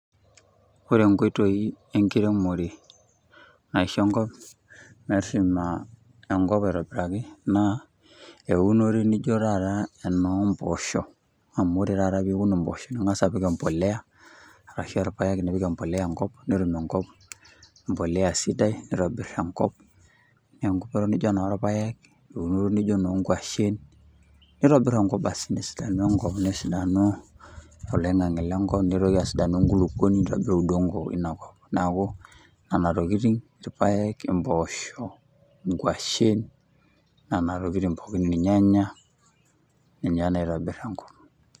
Ore inkotoi enkiremore naisho enkop metishima enkop aitobiraki naa eunore nijo taata eno mpoosho amu taata piun imposho ning'as apik emboleya arashu irpaek nipik emboleya enkop netum enkop emboleya sidai nitobir enkop neeku ijo eno irpaek euno naijo eno nkuashen nitobir enkop basi nesidanu enkop nesidanu oloing'ang'e lenkop mitoki asidanu enonkulukuoni enkulupuoni ina kop neeku Nena tokitin irpaek imposho nkuashen Nena tokitin pookin ninye enya ninye naitobur enkop.